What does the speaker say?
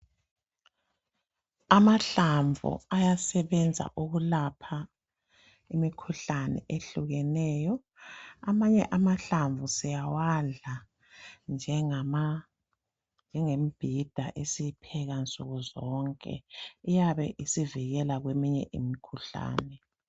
Amahlamvu ayasebenza ukulapha imikhuhlane eyehlukeneyo .Amanye amahlamvu siyawadla njengembhida esiyipheka nsuku zonke .Iyabe isivikeka kweminye imikhuhlane.